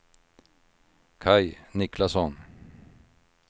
Kaj Niklasson